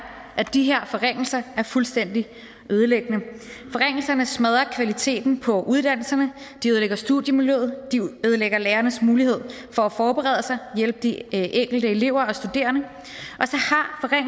at de her forringelser er fuldstændig ødelæggende forringelserne smadrer kvaliteten på uddannelserne de ødelægger studiemiljøet de ødelægger lærernes mulighed for at forberede sig og hjælpe de enkelte elever og studerende